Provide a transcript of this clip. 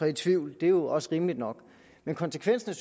i tvivl det er også rimeligt nok men konsekvensen